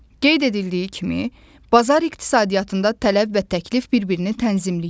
Qeyd edildiyi kimi, bazar iqtisadiyyatında tələb və təklif bir-birini tənzimləyir.